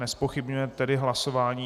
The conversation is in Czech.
Nezpochybňuje tedy hlasování.